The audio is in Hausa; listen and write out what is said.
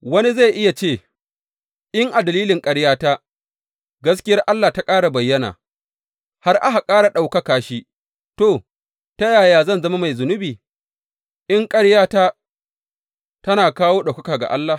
Wani zai iya ce, In a dalilin ƙaryata, gaskiyar Allah ta ƙara bayyana, har aka ƙara ɗaukaka shi, to, ta yaya zan zama mai zunubi, in ƙaryata tana kawo ɗaukaka ga Allah?